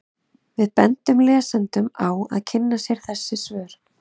Við bendum lesendum á að kynna sér þessi svör.